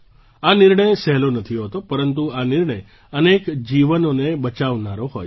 આ નિર્ણય સહેલો નથી હોતો પરંતુ આ નિર્ણય અનેક જીવનોને બચાવનારો હોય છે